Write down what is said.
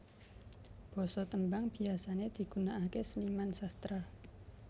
Basa tembang biasane digunaake seniman sastra